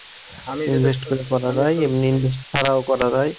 invest করে করা যায় এমনি invest ছাড়াও করা যায়।